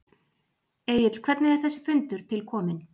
Egill hvernig er þessi fundur til kominn?